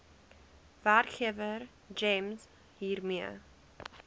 werkgewer gems hiermee